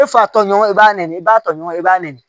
E fa tɔɲɔgɔn i b'i ba tɔɲɔgɔn i b'a nɛni